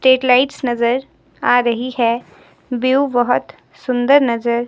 एक लाइट्स नजर आ रही है व्यू बहोत सुंदर नजर--